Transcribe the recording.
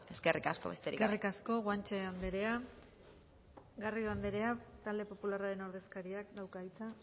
eskerrik asko besterik gabe eskerrik asko guanche andrea garrido andrea talde popularraren ordezkariak dauka hitza